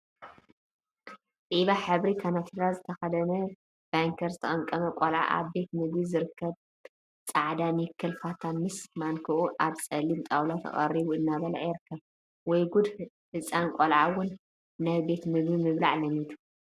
ዒባ ሕብሪ ከናቲራ ዝተከደነ ባንኬር ዝተቀምቀመ ቆልዓ አብ ቤት ምግቢ ዝርከብ ፃዕዳ ኒከል ፋታ ምስ ማንክአ አብ ፀሊም ጣውላ ተቀሪቡ እናበልዐ ይርከብ፡፡ ወይ ጉድ ህፃን ቆልዓ እውን ናይ ቤት ምግቢ ምብላዕ ለሚዱ፡፡